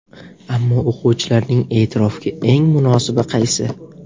Ammo o‘quvchilarning e’tirofiga eng munosibi qaysi?